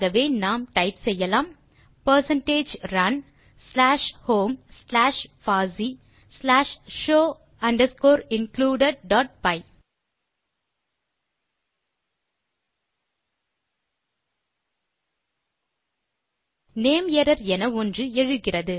ஆகவே நாம் டைப் செய்யலாம் percentage run slash home slash பாசி slash show underscore included dot py நேமரர் என ஒன்று எழுகிறது